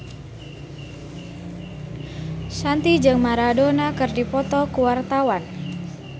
Shanti jeung Maradona keur dipoto ku wartawan